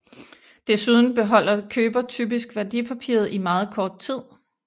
Desuden beholder køber typisk værdipapiret i meget kort tid